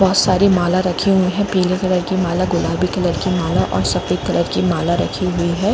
बहुत सारी माला रखे हुए है पीले कलर की माला गुलाबी कलर और सफेद कलर की माला रखी हुई।